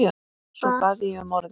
Svo bað ég um orðið.